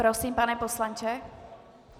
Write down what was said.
Prosím, pane poslanče?